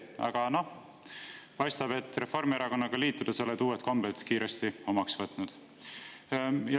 Aga noh, paistab, et Reformierakonnaga liitudes oled uued kombed kiiresti omaks võtnud.